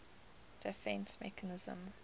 defence mechanism